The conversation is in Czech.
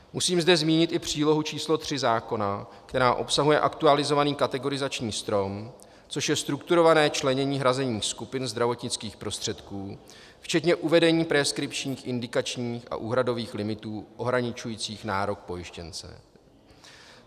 Musím zde zmínit i přílohu číslo 3 zákona, která obsahuje aktualizovaný kategorizační strom, což je strukturované členění hrazení skupiny zdravotnických prostředků včetně uvedení preskripčních indikačních a úhradových limitů ohraničujících nárok pojištěnce.